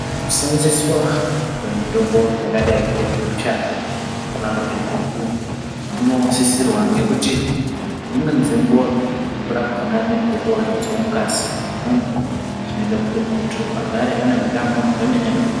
Kuseenzeswa kwemutombo yakadai nge gucha kana kuti gukuu kunosisirwa ngekuti dzimweni dzenguwa guku rakona rinenge richiwandudzawo ngazi remuntu zvinoita kuti muntuagare aneutano hwemene mene